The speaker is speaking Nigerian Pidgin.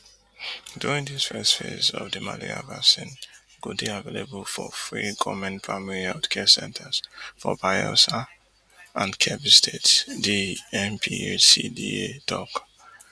during dis first phase di malaria vaccine go dey available for free goment primary healthcare centres for bayelsa and kebbi states di NPHCDA tok